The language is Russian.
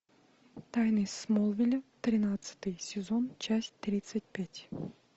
тайны смолвиля тринадцатый сезон часть тридцать пять